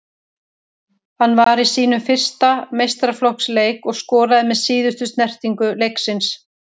Hann var í sínum fyrsta meistaraflokksleik og skoraði með síðustu snertingu leiksins.